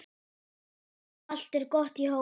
Allt er gott í hófi.